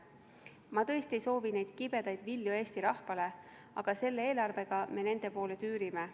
Ma tõesti ei soovi neid kibedaid vilju Eesti rahvale, aga selle eelarvega me nende poole tüürime.